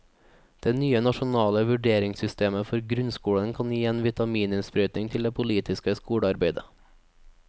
Det nye nasjonale vurderingssystemet for grunnskolen kan gi en vitamininnsprøytning til det politiske skolearbeidet.